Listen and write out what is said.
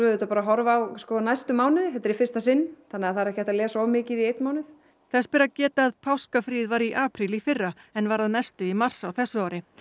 auðvitað að horfa á næstu mánuði þetta er í fyrsta sinn það er ekki hægt að lesa of mikið í einn mánuð þess ber að geta að páskafríið var í apríl í fyrra en var að mestu í mars á þessu ári